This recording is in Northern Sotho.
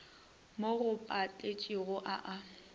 mo go maiphedišo a a